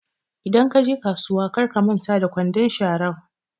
Idan kaje kasuwa kar ka manta da kwandon sharan